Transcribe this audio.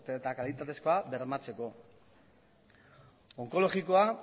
eta kalitatezkoa bermatzeko onkologikoa